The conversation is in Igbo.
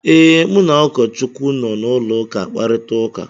Ee, mụ na ụkọchukwu nọ na ụlọụka akparịta ụka.